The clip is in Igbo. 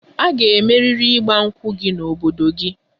A ga-emeriri 'Igba nkwu' gị n'obodo gị!